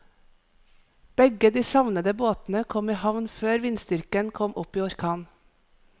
Begge de savnede båtene kom i havn før vindstyrken kom opp i orkan.